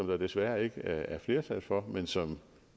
der desværre ikke er flertal for men som